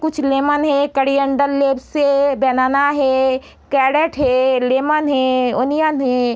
कुछ लेमन हैं coriander leaves हैं बनाना हैं कैरट हैं लेमन हैं अनियन हैं।